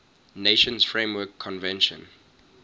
nations framework convention